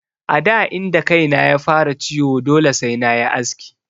A da inda kaina ya fara ciwo dole sai nayi aski.